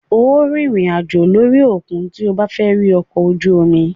Óò rìnrìn àjò lórí òkun tí o bá fẹ́ rí ọkọ̀-ojú-omi.